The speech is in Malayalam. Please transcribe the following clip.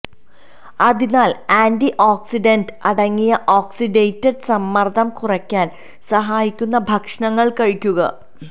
അതിനാൽ ആന്റി ഓക്സിഡന്റ് അടങ്ങിയ ഓക്സിഡേറ്റിവ് സമ്മർദ്ദം കുറയ്ക്കാൻ സഹായിക്കുന്ന ഭക്ഷണങ്ങൾ കഴിക്കുക